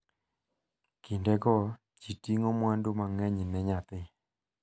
Kindego ji ting'o mwandu mang'eny ne nyathi.